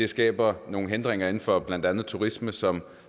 skaber det nogle hindringer inden for blandt andet turisme som